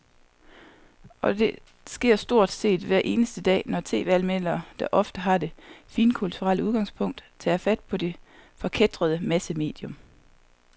Og det sker stort set hver eneste dag, når tv-anmelderne, der ofte har det finkulturelle udgangspunkt, tager fat på det forkætrede massemedium.